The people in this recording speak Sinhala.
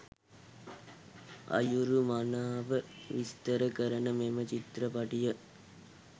අයුරු මනාව විස්තර කරන මෙම චිත්‍රපටිය.